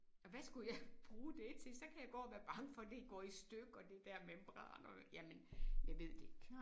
Og hvad skulle jeg bruge det til så kan jeg gå og være bange for det går i stykker det der membran og jamen jeg ved det ikke